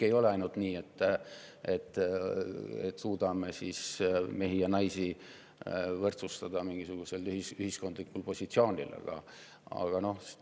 Ei ole ainult nii, et mehi ja naisi mingisugusel ühiskondlikul positsioonil võrdsustada.